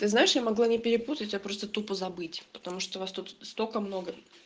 ты знаешь я могла не перепутать а просто тупо забыть потому что вас тут столько много